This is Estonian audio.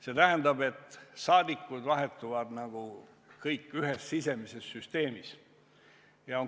See tähendab, et saadikud vahetuvad kõik ühes sisemises süsteemis.